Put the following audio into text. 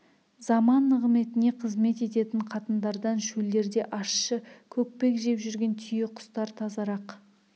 заман нығметіне қызмет ететін қатындардан шөлдерде ащы көкпек жеп жүрген түйеқұстар тазарақ